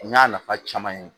N y'a nafa caman ye